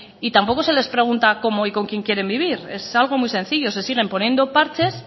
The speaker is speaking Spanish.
y tampoco se les pregunta cómo y con quien quieren vivir es algo muy sencillo se siguen poniendo parches